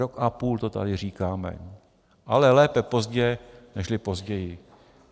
Rok a půl to tady říkáme, ale lépe pozdě nežli později.